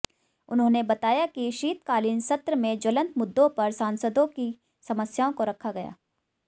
उन्होंने बताया कि शीतकालीन सत्र में ज्वलंत मुद्दों पर सांसदों की समस्याओं को रखा गया